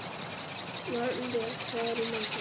Vagnbjörg, hvað er í matinn?